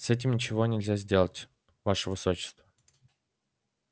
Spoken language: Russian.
с этим ничего нельзя сделать ваше высочество